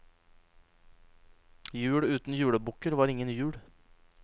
Jul uten julebukker var ingen jul.